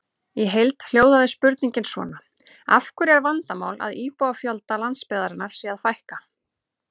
Í heild hljóðaði spurningin svona: Af hverju er vandamál að íbúafjölda landsbyggðarinnar sé að fækka?